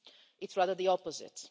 It's rather the opposite.